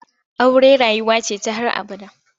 Aure rayuwa ce ta har abada.